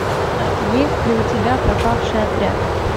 есть ли у тебя пропавший отряд